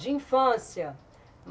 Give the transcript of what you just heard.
De infância.